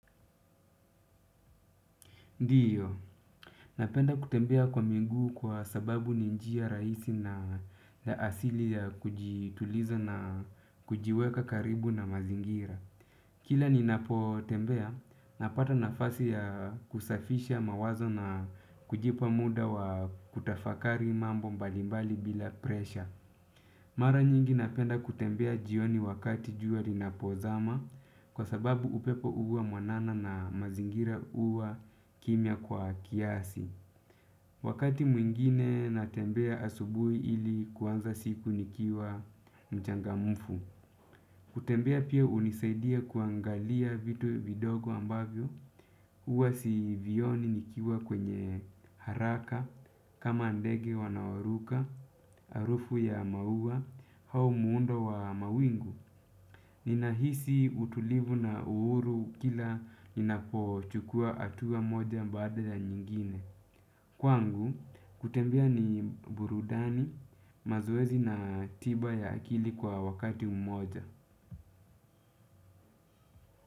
Ndiyo, napenda kutembea kwa miguu kwa sababu ni njia rahisi na ya asili ya kujituliza na kujiweka karibu na mazingira. Kila ninapotembea, napata nafasi ya kusafisha mawazo na kujipa muda wa kutafakari mambo mbalimbali bila presha. Mara nyingi napenda kutembea jioni wakati jua linapozama kwa sababu upepo huwa mwanana na mazingira huwa kimya kwa kiasi. Wakati mwingine natembea asubuhi ili kuanza siku nikiwa mchangamfu. Kutembea pia hunisaidia kuangalia vitu vidogo ambavyo, huwa sivioni nikiwa kwenye haraka, kama ndege wanaoaruka, harufu ya maua, au muundo wa mawingu. Ninahisi utulivu na uhuru kila ninapochukua hatua moja baada ya nyingine. Kwangu, kutembea ni burudani, mazoezi na tiba ya akili kwa wakati moja.